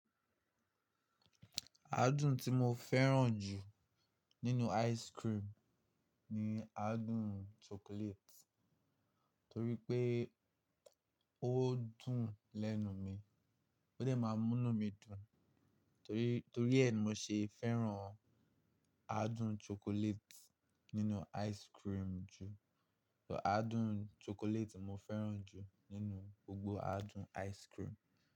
Adún tí mo fẹ́ràn jù nínú ice cream ni adún chocolate, torí pé ó dùn lẹ́nu mi, ó dẹ̀ máa múnú mi dùn, torí torí ẹ ni mo ṣe fẹ́ràn adún chocolate nínú ice cream jù. Adún chocolate ni mo fẹ́ràn jù nínú gbogbo adún ice cream?